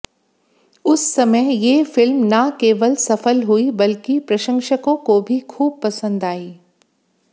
उस समय ये फिल्म न केवल सफल हुई बल्कि प्रशंसकों को भी खूब पसंद आई